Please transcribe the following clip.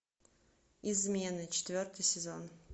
измены четвертый сезон